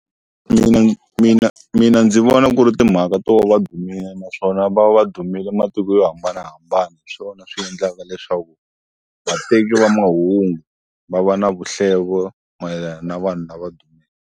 Mina mina mina ndzi vona ku ri timhaka to va va dumile naswona va va va dumile matiko yo hambanahambana. Hi swona swi endlaka leswaku, vateki va mahungu va va na vuhlevo mayelana na vanhu lava .